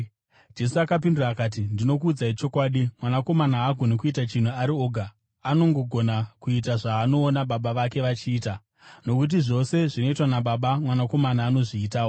Jesu akapindura akati, “Ndinokuudzai chokwadi, Mwanakomana haagoni kuita chinhu ari oga; anongogona kuita zvaanoona Baba vake vachiita, nokuti zvose zvinoitwa naBaba, Mwanakomana anozviitawo.